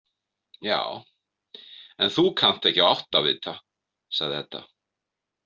Já, en þú kannt ekki á áttavita, sagði Edda.